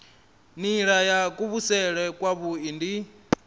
nila ya kuvhusele kwavhui ndi